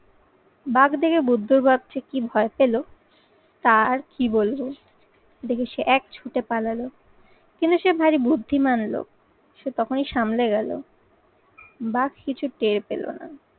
বাঘ দেখে বুদ্ধর বাঘ যে কি ভয় পেল তার কি বলবো। দেখে সে এক ছুটে পালালো কিন্তু সে ভারী বুদ্ধিমান লোক। সে তখনই সামলে গেলো বাঘ কিছু টের পেল না।